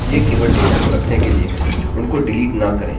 आपको केवल इतना करना है कि नये डेटाबेसेस बनाने हैं